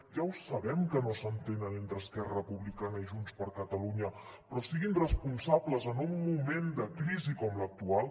ja ho sabem que no s’entenen entre esquerra republicana i junts per catalunya però siguin responsables en un moment de crisi com l’actual